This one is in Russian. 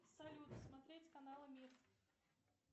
салют смотреть каналы мир